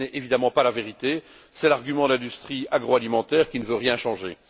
Ce n'est évidemment pas la vérité, c'est l'argument de l'industrie agroalimentaire, qui ne veut rien changer.